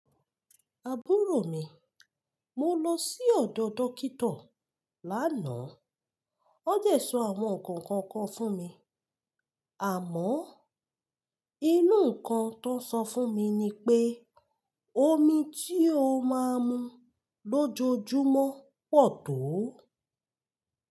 Àbúrò mi, mo lọ sí ọ̀dọ̀ dókíto lánàá. Won dẹ sọ àwọn nǹkan kan kan fún mi. Àmọ́, inú nǹkan tón sọ fún mi ni pé omi tí o máa mu lójoojúmọ́ pọ̀ tó.